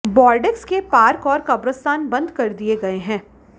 Bordeaux के park और कब्रस्तान बंद कर दिए गए हैं